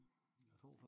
A tror faktisk